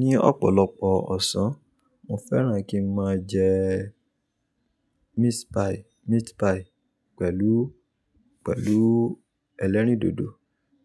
Ní ọ̀pọ̀lọpọ̀ ọ̀sán, mo fẹ́ràn kí n máa jẹ́ meat pie, meat pie pẹ̀lú, pẹ̀lú ẹlẹ́rìndòdò.